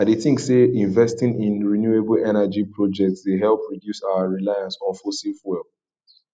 i dey think say investing in renewable energy projects dey help reduce our reliance on fossil fuels